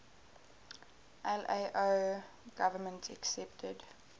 lao government accepted